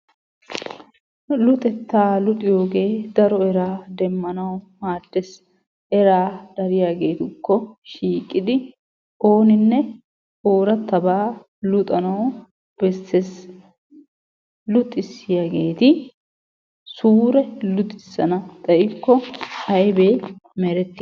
Luxetta luxiyoogge daro eraa demmanawu maades, eraa dariyaggettukko shiiqidi oonine oorattaba luxanawu besses. Luxissiyagetti suure luxissana xayikko ayibbe merettiyay?